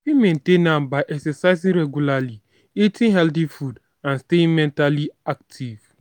i fit maintain am by exercising regularly eating healthy foods and stay mentally active.